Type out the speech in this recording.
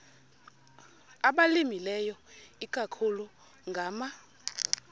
abalimileyo ikakhulu ngama